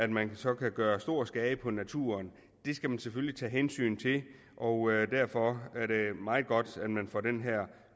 man så kan gøre stor skade på naturen det skal man selvfølgelig tage hensyn til og derfor er det meget godt at man får den her